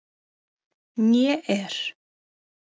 Né er